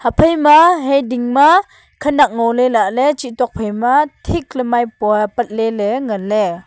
ephaima haye dingma khenak ngoley lahley chih tok phaima thikley maipua apat leley nganley.